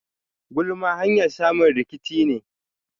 Gulma hanyar samun rikici ne.